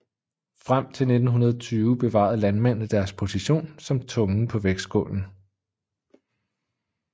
Frem til 1920 bevarede landmændene deres position som tungen på vægtskålen